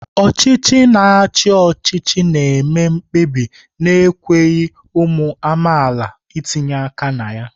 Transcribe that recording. Ọchịchị na-achị ọchịchị na-eme mkpebi na-ekweghị ụmụ amaala itinye aka na ya.